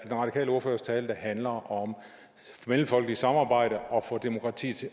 radikale ordførers tale der handler om mellemfolkeligt samarbejde og at få demokratiet